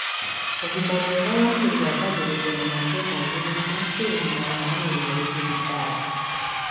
ũgima mwega wa mwĩrĩ wambagĩrĩria na matua magĩrĩru ma kĩũgima wa mwĩrĩ harĩ thibitarĩ